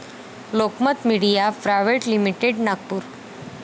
Lokmat media private limited., Nagpur